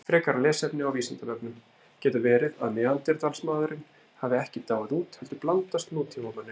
Frekara lesefni á Vísindavefnum: Getur verið að Neanderdalsmaðurinn hafi ekki dáið út heldur blandast nútímamanninum?